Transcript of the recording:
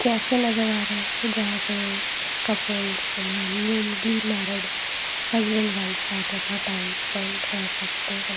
Cafe नजर आ रहा है जहां पे couples newly married husband wives आ के अपना टाइम स्पेंड कर सकते हैं।